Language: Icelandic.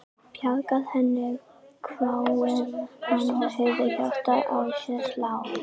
Bjarga henni? hváir hann og heyrir hjartað í sér slá.